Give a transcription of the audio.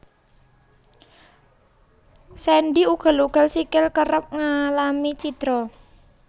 Sendhi ugel ugel sikil kerep ngalami cidra